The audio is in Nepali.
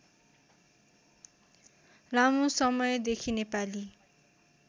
लामो समयदेखि नेपाली